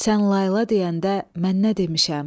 Sən layla deyəndə mən nə demişəm?